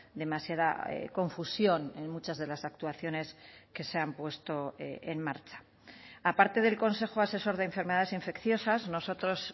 demasiada confusión en muchas de las actuaciones que se han puesto en marcha aparte del consejo asesor de enfermedades infecciosas nosotros